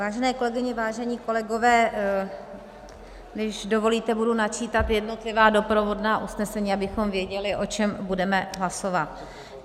Vážené kolegyně, vážení kolegové, když dovolíte, budu načítat jednotlivá doprovodná usnesení, abychom věděli, o čem budeme hlasovat.